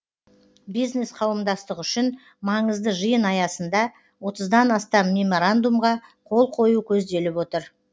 бизнес қауымдастық үшін маңызды жиын аясында отыздан астам меморандумға қол қою көзделіп отыр